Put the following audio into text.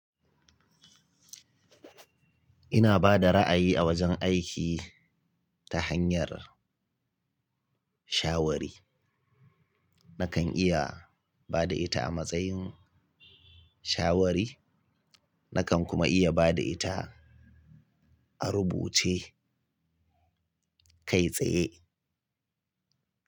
Ina ba da ra'ayi a wajen aiki, ta hanyar shawari. Nakan iya ba da ita a matsayin shawari, nakan kuma iya ba da ita a rubuce kai tsaye.